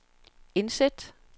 indsæt